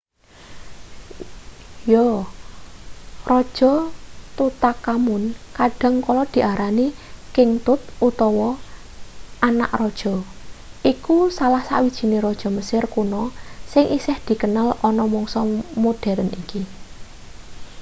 yo raja tutankhamun kadang kala diarani king tut utawa anak raja iku salah sawijine raja mesir kuno sing isih dikenal ana mangsa moderen iki